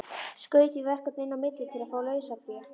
Skaut því verkefni inn á milli til að fá lausafé.